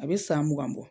A bɛ san mugan bɔ